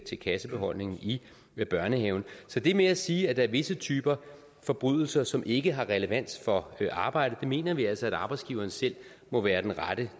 til kassebeholdningen i børnehaven så det med at sige at der er visse typer forbrydelser som ikke har relevans for arbejdet mener vi altså at arbejdsgiveren selv må være den rette